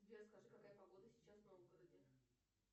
сбер скажи какая погода сейчас в новгороде